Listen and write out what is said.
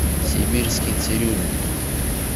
сибирский цирюльник